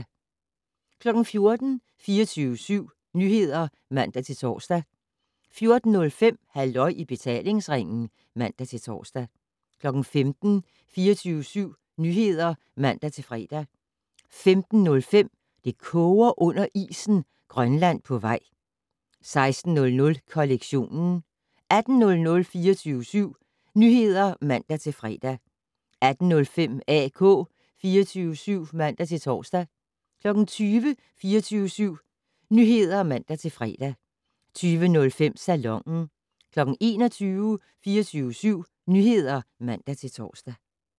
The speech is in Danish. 14:00: 24syv Nyheder (man-tor) 14:05: Halløj i betalingsringen (man-tor) 15:00: 24syv Nyheder (man-fre) 15:05: Det koger under isen - Grønland på vej 16:00: Kollektionen 18:00: 24syv Nyheder (man-fre) 18:05: AK 24syv (man-tor) 20:00: 24syv Nyheder (man-fre) 20:05: Salonen 21:00: 24syv Nyheder (man-tor)